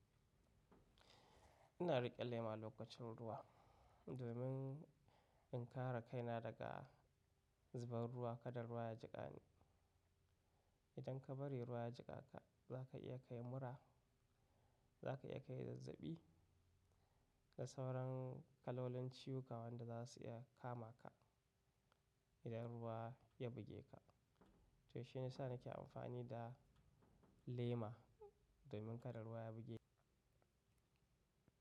Ina riƙe lema lokacin ruwa domin in kare kaina daga zubar ruwa. Kada ruwa ya jiƙa ni. Idan ka bari ruwa ya jiƙa ka, za ka iya kai mura, za ka iya kai zazzaɓi da sauran kalolin ciwuka wanda za su iya kama ka idan ruwa ya buge ka. To shi ya sa na ke amfani da lema domin kada ruwa ya buge ni.